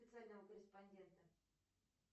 специального корреспондента